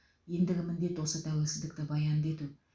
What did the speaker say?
ендігі міндет осы тәуелсіздікті баянды ету